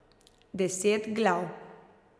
Deset glav.